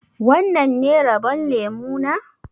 Wannan ne rabon lemu na?